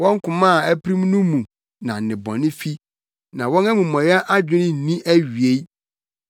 Wɔn koma a apirim no mu na nnebɔne fi; na wɔn amumɔyɛ adwene nni awiei.